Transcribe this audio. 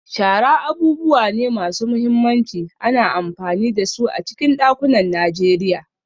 Shara abubuwa ne masu mahimmanci, ana amfani da su a cikin dakunan Najeriya.